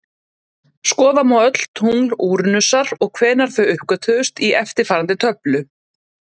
Skoða má öll tungl Úranusar og hvenær þau uppgötvuðust í eftirfarandi töflu: